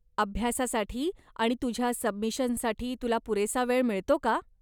अभ्यासासाठी आणि तुझ्या सबमिशनसाठी तुला पुरेसा वेळ मिळतो का?